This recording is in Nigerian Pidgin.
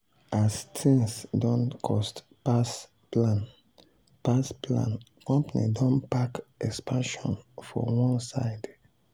as things don cost pass plan pass plan company don park expansion for one side.